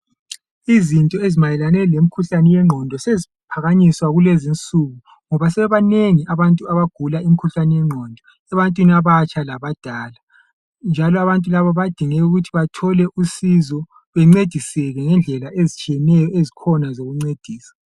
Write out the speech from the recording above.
Izinto ezimayelane lemkhuhlane wengqondo seziphakanyiswa kulezinsuku ngoba sebebanengi abantu abagula umkhuhlani yengqondo, ebantwini abatsha labadala njalo abantu laba badinge ukuthi bathole usizo bencediseke ngendlela ezitshiyeneyo ezikhona zokuncedisa.